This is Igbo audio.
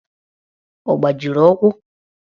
Ọ gbajiri ụkwụ?